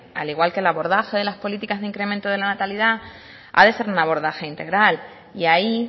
al igual que el abordaje de las políticas del incremento de la natalidad ha de ser un abordaje integral y ahí